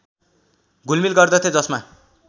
घुलमिल गर्दथे जसमा